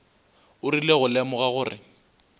o rile go lemoga gore